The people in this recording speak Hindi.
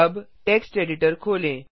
अब टेक्स्ट एडिटर खोलें